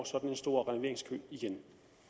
sådan en stor renoveringskø igen